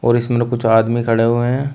और इसमें ना कुछ आदमी खड़े हुए हैं।